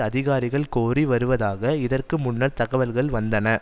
அதிகாரிகள் கோரி வருவதாக இதற்கு முன்னர் தகவல்கள் வந்தன